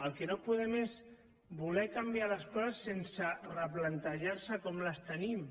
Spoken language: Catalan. el que no podem és voler canviar les coses sense replantejarse com les tenim